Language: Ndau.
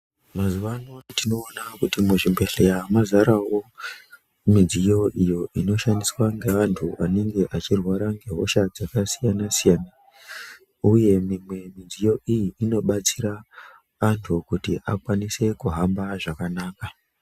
Mazuvano tinoona kuti muzvibhedhleya mazarawo midziyo iyo inoshandiswa ngevantu vanenge vachirwara ngehosha dzakasiyana-siyana. Uye mimwe midziyo iyi inobatsira antu kuti akwanise kuhamba zvakanaka.